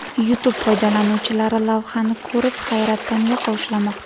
YouTube foydalanuvchilari lavhani ko‘rib, hayratdan yoqa ushlamoqda.